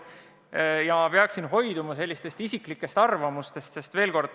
Seega ma peaksin hoiduma isiklikest arvamustest.